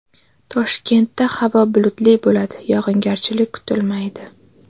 Toshkentda havo bulutli bo‘ladi, yog‘ingarchilik kutilmaydi.